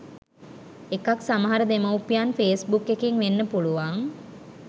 එකක් සමහර දෙමවුපියන් ෆේස් බුක් එකෙන් වෙන්න පුළුවන්